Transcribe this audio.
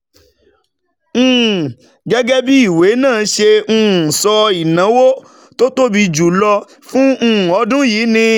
um Gẹ́gẹ́ bí ìwé náà ṣe um sọ, ìnáwó tó tóbi jù lọ fún um ọdún yìí ni